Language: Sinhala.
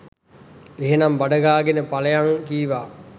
එහෙනම් බඩ ගාගෙන පලයන් කීවා.